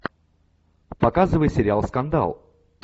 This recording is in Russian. показывай сериал скандал